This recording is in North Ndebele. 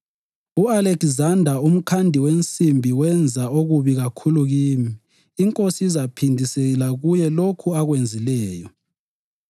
U-Alekizanda umkhandi wensimbi wenza okubi kakhulu kimi. INkosi izaphindisela kuye lokhu akwenzileyo.